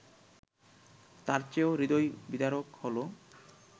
তার চেয়েও হৃদয়বিদারক হলো